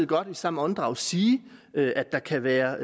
godt i samme åndedrag sige at der kan være